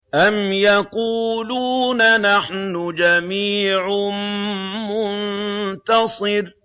أَمْ يَقُولُونَ نَحْنُ جَمِيعٌ مُّنتَصِرٌ